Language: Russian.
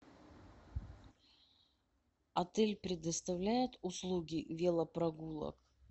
отель предоставляет услуги велопрогулок